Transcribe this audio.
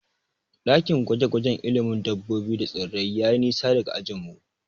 Ɗakin gwaje-gwajen ilimin dabbobi da tsirrai yayi nisa daga ajinmu.